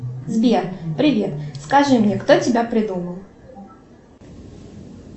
сбер привет скажи мне кто тебя придумал